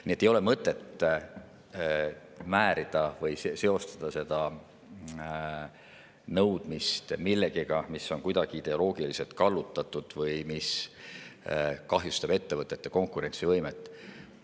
Nii et ei ole mõtet seostada seda nõudmist millegagi, mis on kuidagi ideoloogiliselt kallutatud või mis kahjustab ettevõtete konkurentsivõimet.